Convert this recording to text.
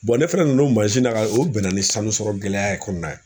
ne fana nana o mansin na o bɛnna ni sanu sɔrɔ gɛlɛya ye kɔnɔna ye